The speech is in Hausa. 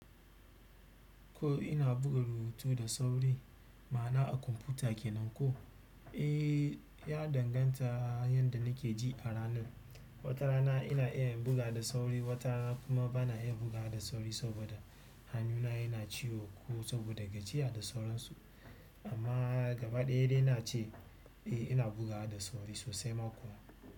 Ko ina buga rubutu da sauri ma'ana a kwamfuta kenan ko? Eh, ya danganta yanda nake ji a ranan. Wata rana ina iya in buga da sauri, wata rana kuma bana iya bugawa da sauri saboda hannuna yana ciwo ko saboda gajiya da sauransu. Amma gaba ɗaya dai na ce eh ina bugawa da sauri sossai ma kuwa.